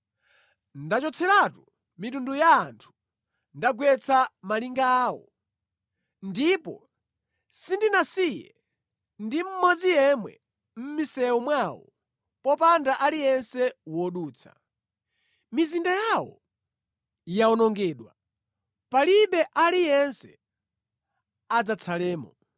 “Ndachotseratu mitundu ya anthu; ndagwetsa malinga awo. Ndipo sindinasiye ndi mmodzi yemwe mʼmisewu mwawo, popanda aliyense wodutsa. Mizinda yawo yawonongedwa; palibe aliyense adzatsalemo.